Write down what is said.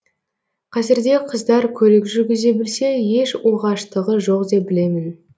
қазірде қыздар көлік жүргізе білсе еш оғаштығы жоқ деп білемін